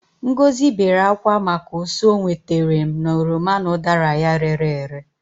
Ngozi wept because of the loss she incurred fro from her rotten oranges and apples.